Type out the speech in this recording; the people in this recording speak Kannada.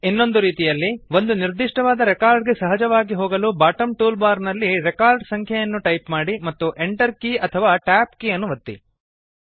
ಇನ್ನೊಂದು ರೀತಿಯಲ್ಲಿ ಒಂದು ನಿರ್ದಿಷ್ಟವಾದ ರೆಕಾರ್ಡ್ ಗೆ ಸಹಜವಾಗಿ ಹೋಗಲು ಬಾಟಮ್ ಟೂಲ್ ಬಾರ್ ನಲ್ಲಿ ರೆಕಾರ್ಡ್ ಸಂಖ್ಯೆಯನ್ನು ಟೈಪ್ ಮಾಡಿ ಮತ್ತು enter ಕೀ ಅಥವಾ tab ಕೀ ಅನ್ನು ಒತ್ತಿ